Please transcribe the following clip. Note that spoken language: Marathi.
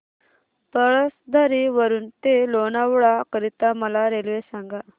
पळसधरी वरून ते लोणावळा करीता मला रेल्वे सांगा